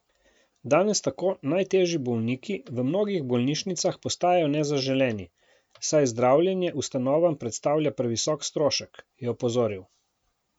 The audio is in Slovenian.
Danes tako najtežji bolniki v mnogih bolnišnicah postajajo nezaželeni, saj zdravljenje ustanovam predstavlja previsok strošek, je opozoril.